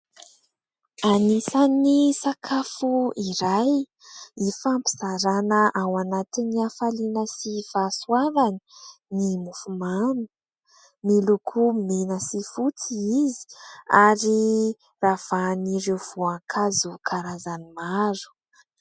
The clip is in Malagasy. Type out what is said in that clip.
Anisan'ny sakafo iray ifampizarana ao anatin'ny hafaliana sy fahasoavana ny mofomamy. Miloko mena sy fotsy izy ary ravahan'ireo voankazo karazany maro.